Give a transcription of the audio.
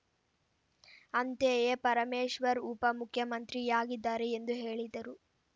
ಅಂತೆಯೇ ಪರಮೇಶ್ವರ್‌ ಉಪ ಮುಖ್ಯಮಂತ್ರಿಯಾಗಿದ್ದಾರೆ ಎಂದು ಹೇಳಿದರು